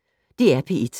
DR P1